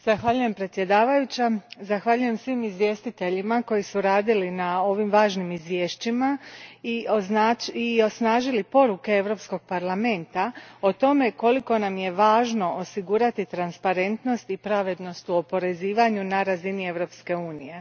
Gospođo predsjedavajuća, zahvaljujem svim izvjestiteljima koji su radili na ovim važnim izvješćima i osnažili poruke Europskog parlamenta o tome koliko nam je važno osigurati transparentnost i pravednost u oporezivanju na razini Europske unije.